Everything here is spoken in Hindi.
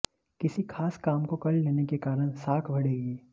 किसी खास काम को कर लेने के कारण साख बढ़ेगी